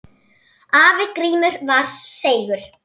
Afi Grímur var seigur.